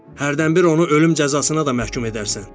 Hərdən bir onu ölüm cəzasına da məhkum edərsən.